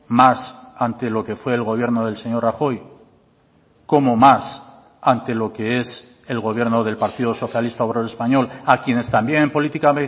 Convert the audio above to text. más ante lo que fue el gobierno del señor rajoy cómo más ante lo que es el gobierno del partido socialista obrero español a quienes también política